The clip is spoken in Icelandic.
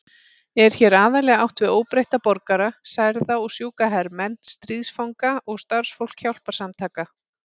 Er hér aðallega átt við óbreytta borgara, særða og sjúka hermenn, stríðsfanga og starfsfólk hjálparsamtaka.